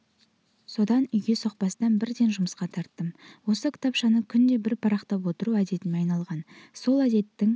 содан үйге соқпастан бірден жұмысқа тарттым осы кітапшаны күнде бір парақтап отыру әдетіме айналған сол әдеттің